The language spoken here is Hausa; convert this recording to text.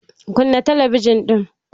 Kunna talabijin ɗin!